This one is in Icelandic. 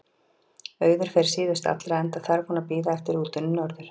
Auður fer síðust allra, enda þarf hún að bíða eftir rútunni norður.